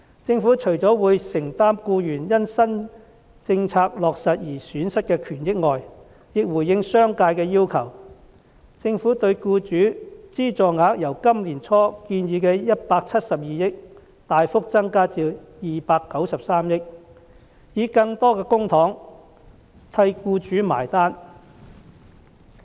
政府除了會承擔僱員因新政策落實而損失的權益外，亦回應商界的要求，政府對僱主資助額由今年年初建議的172億元大幅增加至293億元，以更多的公帑替僱主"埋單"。